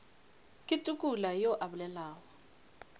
ke tukula yo a bolelago